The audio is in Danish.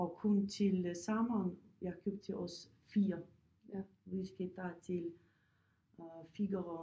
Og kun til sommeren jeg har købt til os 4 vi skal tage til øh Figaro